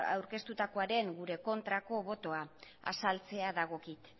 aurkeztutakoaren gure kontrako botoa azaltzea dagokit